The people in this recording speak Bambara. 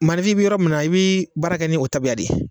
Maanifin i bi yɔrɔ min na i bi baara kɛ n'o tabiya de ye